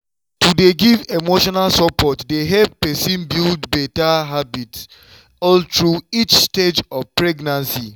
to dey give emotional support dey help person build better habits all through each stage of pregnancy.